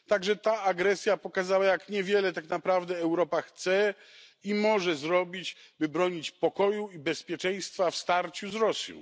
także ta agresja pokazała, jak niewiele tak naprawdę Europa chce i może zrobić, by bronić pokoju i bezpieczeństwa w starciu z Rosją.